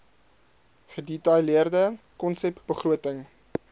gedetailleerde konsep begroting